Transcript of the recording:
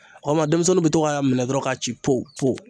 O kama denmisɛnninw bɛ to k'a minɛ dɔrɔn ka ci